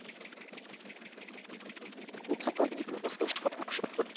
осыған дейін осы шығармашылық топ